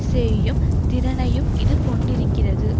செய்யும் திறனையும் இது கொண்டிருக்கிறது